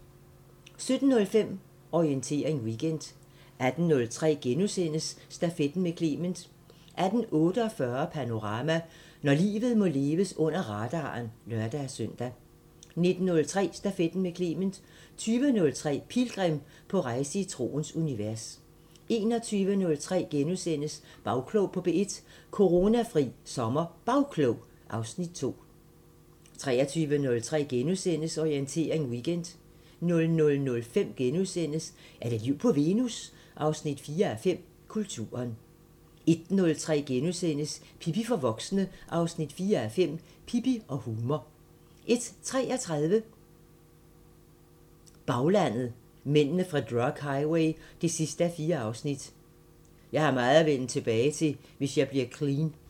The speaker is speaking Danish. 17:05: Orientering Weekend 18:03: Stafetten med Clement * 18:48: Panorama: Når livet må leves under radaren (lør-søn) 19:03: Stafetten med Clement 20:03: Pilgrim – på rejse i troens univers 21:03: Bagklog på P1: Coronafri SommerBagklog (Afs. 2)* 23:03: Orientering Weekend * 00:05: Er der liv på Venus? 4:5 – Kulturen * 01:03: Pippi for voksne 4:5 – Pippi og humor * 01:33: Baglandet: Mændene fra drug highway 4:4 – "Jeg har meget at vinde tilbage, hvis jeg bliver clean"